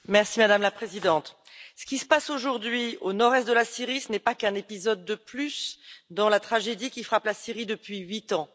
Madame la Présidente, ce qui se passe aujourd'hui au nord est de la Syrie, ce n'est pas qu'un épisode de plus dans la tragédie qui frappe la Syrie depuis huit ans.